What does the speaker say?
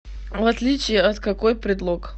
в отличие от какой предлог